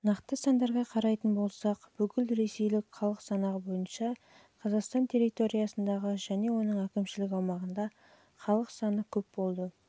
нақты сандарға қарайтын болсақ жылғы бүкілресейлік халық санағы бойынша қазақстан территориясында және оның әкімшілік аумағында